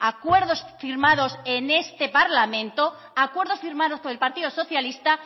acuerdos firmados en este parlamento acuerdos firmados por el partido socialista